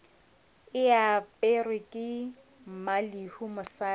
e aperwe ke mmalehu mosadi